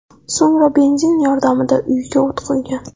So‘ngra benzin yordamida uyiga o‘t qo‘ygan.